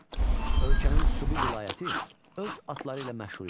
Ölkənin Subi vilayəti öz atları ilə məşhur idi.